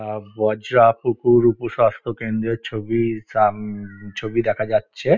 আ বজরা পুকুর উপস্বাস্থ্য কেন্দ্রের ছবি সাম ছবি দেখা যাচ্ছে।